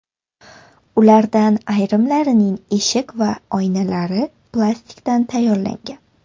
Ulardan ayrimlarining eshik va oynalari plastikdan tayyorlangan.